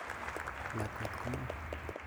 Lakwet ko ng'o?